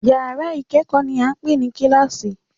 Yàrá ìkẹ́kọ̀ọ́ ni à ń pè ní kíláàsì